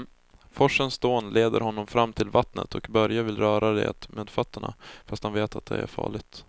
Forsens dån leder honom fram till vattnet och Börje vill röra vid det med fötterna, fast han vet att det är farligt.